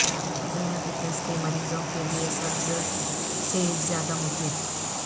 ذیا بیطس کے مریضوں کےلئے سبز سیب زیادہ مفید